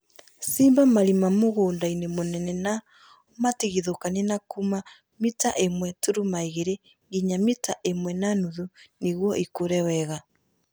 Shimba marima mũgũndainĩ mũnene na ũmatigithũkanie na kuma mita ĩmwe turuma igĩri nginya mita ĩmwe na muthu nĩguo ĩkure wega